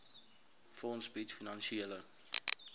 fonds bied finansiële